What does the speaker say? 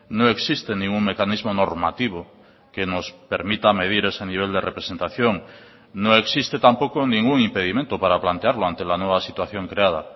no existe ningún mecanismo normativo que nos permita medir ese nivel de representación no existe tampoco ningún impedimento para plantearlo ante la nueva situación creada